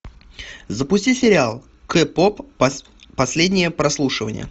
запусти сериал кей поп последнее прослушивание